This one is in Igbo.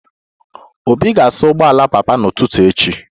Obi ga-asa ụgbọala papa m n'ụtụtụ echi